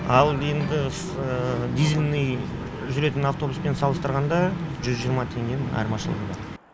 ал енді дизельмен жүретін автобуспен салыстырғанда жүз жиырма теңге айырмашылық бар